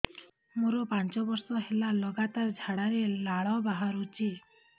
ମୋରୋ ପାଞ୍ଚ ବର୍ଷ ହେଲା ଲଗାତାର ଝାଡ଼ାରେ ଲାଳ ବାହାରୁଚି